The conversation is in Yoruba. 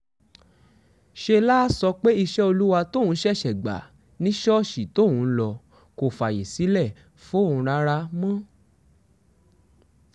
ṣe láá sọ pé iṣẹ́ olúwa tóun ṣẹ̀ṣẹ̀ gbà ni ṣọ́ọ̀ṣì tóun ń lọ kò fààyè sílẹ̀ fóun rárá mọ́